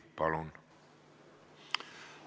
Palun!